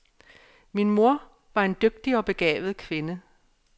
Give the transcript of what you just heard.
Min mor var en dygtig og begavet kvinde.